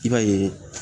I b'a ye